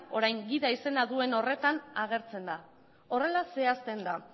orain gida izena duen horretan agertzen da horrela zehazten da